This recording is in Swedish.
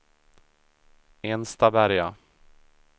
Enstaberga